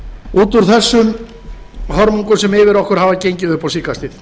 út úr þessum hörmungum sem yfir okkur hafa gengið upp á síðkastið